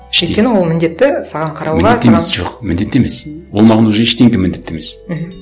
іштей өйткені ол міндетті саған қарауға жоқ міндетті емес ол маған уже ештеңе міндетті емес мхм